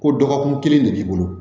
Ko dɔgɔkun kelen de b'i bolo